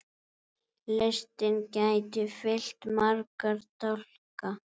Listinn gæti fyllt marga dálka.